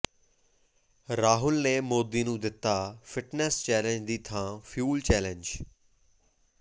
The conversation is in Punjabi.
ਰਾਹੁਲ ਨੇ ਮੋਦੀ ਨੂੰ ਦਿੱਤਾ ਫਿੱਟਨੈਸ ਚੈਲੇਂਜ ਦੀ ਥਾਂ ਫਿਊਲ ਚੈਲੇਂਜ